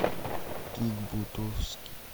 кик бутовски